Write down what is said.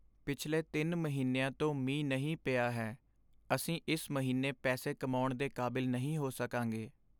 ਪਿਛਲੇ ਤਿੰਨ ਮਹੀਨਿਆਂ ਤੋਂ ਮੀਂਹ ਨਹੀਂ ਪਿਆ ਹੈ ਅਸੀਂ ਇਸ ਮਹੀਨੇ ਪੈਸੇ ਕਮਾਉਣ ਦੇ ਕਾਬਿਲ ਨਹੀਂ ਹੋ ਸਕਾਂਗੇ